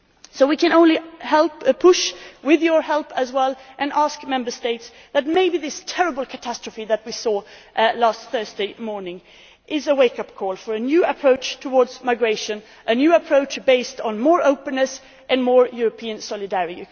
So we can only help push, with your help as well, and ask Member States, so that maybe this terrible catastrophe that we saw last Thursday morning can be a wake up call for a new approach to migration, a new approach based on more openness and more European